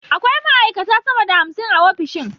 Akwai ma’aikata sama da hamsin a ofishin